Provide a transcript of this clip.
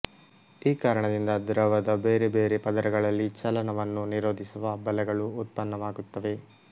ಈ ಕಾರಣದಿಂದ ದ್ರವದ ಬೇರೆ ಬೇರೆ ಪದರಗಳಲ್ಲಿ ಚಲನವನ್ನು ನಿರೋಧಿಸುವ ಬಲಗಳು ಉತ್ಪನ್ನವಾಗುತ್ತವೆ